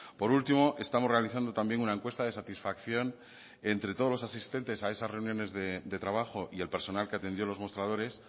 por último estamos realizando también una encuesta de satisfacción entre todos los asistentes a esas reuniones de trabajo y el personal que atendió los mostradores